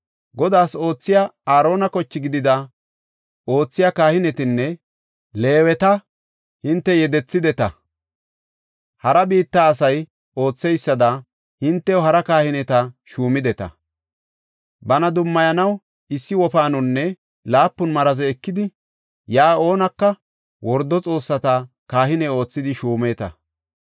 Godaas oothiya Aarona koche gidida oothiya kahinetanne Leeweta hinte yedethideta. Hara biitta asay ootheysada hintew hara kahineta shuumideta. Bana dummayanaw issi wofaanonne laapun maraze ekidi yaa oonaka wordo xoossatas kahine oothidi shuumata.